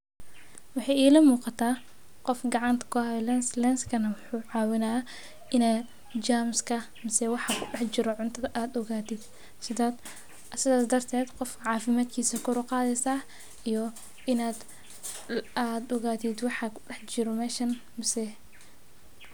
Waxe ilaa muuqata qoof gacanta ku hayo lens lenskana muxu cawinaa ina jamska, masee waxa kudax jiroo cuntadha aad ogatit sidhaas darted qoof cafimatkisa kor uqadheysa iyo inad ogatiit waxa kudaxjiro meeshan misee.